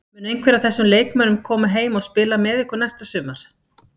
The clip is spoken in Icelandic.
Mun einhver af þessum leikmönnum koma heim og spila með ykkur næsta sumar?